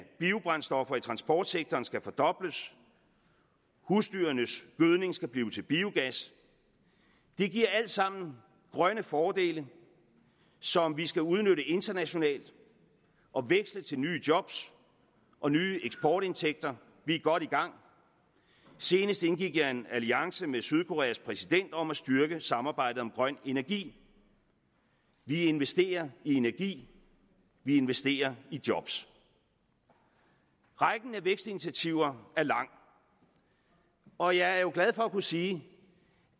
transportsektoren skal fordobles husdyrenes gødning skal blive til biogas det giver alt sammen grønne fordele som vi skal udnytte internationalt og veksle til nye job og nye eksportindtægter vi er godt i gang senest indgik jeg en alliance med sydkoreas præsident om at styrke samarbejdet om grøn energi vi investerer i energi vi investerer i job rækken af vækstinitiativer er lang og jeg er jo glad for at kunne sige